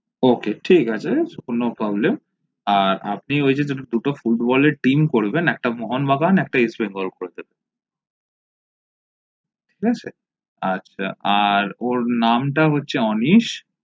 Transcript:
ok ঠিক আছে no problem আর আপনে দুটো ফুটবলের team করবেন একটা মোহন বাগান একটা ইস্ট বেঙ্গল করে দেবেন ঠিক আছে আর ওর নাম তা হচ্ছে অনিস